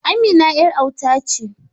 Amina yar auta ce.